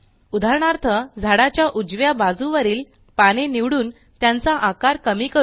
उदाहरणार्थ झाडाच्या उजव्या बाजूवरील पाने निवडून त्यांचा आकार कमी करू